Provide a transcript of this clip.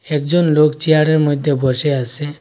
একজন লোক চেয়ারের মইধ্যে বসে আসে ।